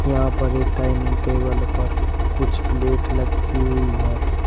यहां पर एक डाइनिंग टेबल पर कुछ प्लेट लगी हुई हैं।